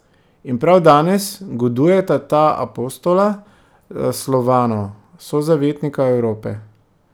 In prav danes godujeta ta apostola Slovanov, sozavetnika Evrope.